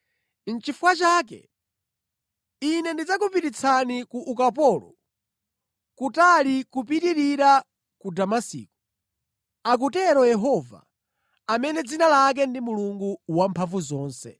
Nʼchifukwa chake Ine ndidzakupititsani ku ukapolo, kutali kupitirira ku Damasiko,” akutero Yehova, amene dzina lake ndi Mulungu Wamphamvuzonse.